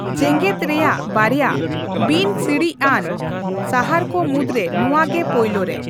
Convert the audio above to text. ᱡᱮᱜᱮᱫ ᱨᱮᱭᱟᱜ ᱵᱟᱨᱭᱟ ᱵᱤᱱᱼᱥᱤᱲᱤᱡᱽ ᱟᱱ ᱥᱟᱦᱟᱨᱠᱚ ᱢᱩᱫᱽᱨᱮ ᱱᱚᱣᱟᱜᱮ ᱯᱳᱭᱞᱳᱨᱮ ᱾